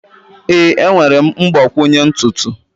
Ee, enwere m mgbakwunye ntutu.